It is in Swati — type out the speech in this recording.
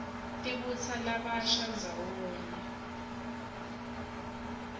tibutsa labasha ndzawonye